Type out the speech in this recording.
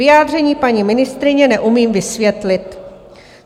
Vyjádření paní ministryně neumím vysvětlit."